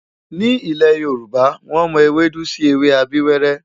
Ní ilẹ̀ Yorùbá, wọ́n mọ ewédú sí ewé abíwẹ́rẹ́.